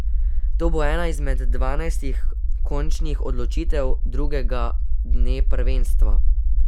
To bo ena izmed dvanajstih končnih odločitev drugega dne prvenstva.